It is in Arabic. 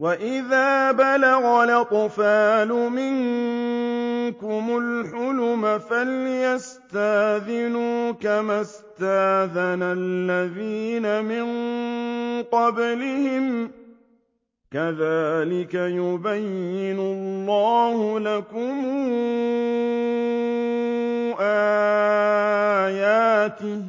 وَإِذَا بَلَغَ الْأَطْفَالُ مِنكُمُ الْحُلُمَ فَلْيَسْتَأْذِنُوا كَمَا اسْتَأْذَنَ الَّذِينَ مِن قَبْلِهِمْ ۚ كَذَٰلِكَ يُبَيِّنُ اللَّهُ لَكُمْ آيَاتِهِ ۗ